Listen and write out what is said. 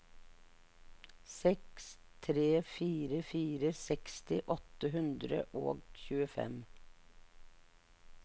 seks tre fire fire seksti åtte hundre og tjuefem